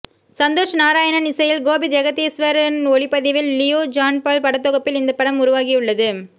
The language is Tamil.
சந்தோஷ் நாராயணன் இசையில் கோபி ஜெகதீஸ்வரன் ஒளிப்பதிவில் லியோ ஜான்பால் படத்தொகுப்பில் இந்த படம் உருவாகியுள்ளது